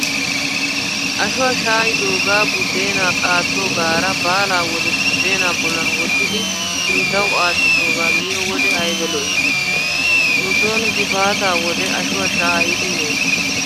Ashuwaa shaa'idoogaa buddeenaa qaattoogaara baalaa wode buddeenaa bollan wottidi sinttawu aattidoogaa miyo wode ayba lo'i. Nu sooni gifaataa wode ashuwaa shaa'idi meettees.